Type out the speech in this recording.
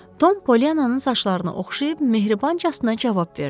Tom Polyannanın saçlarını oxşayıb mehribancasına cavab verdi: